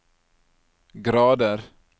grader